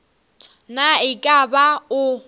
na e ka ba o